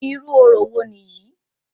Irú orò wo nìyí?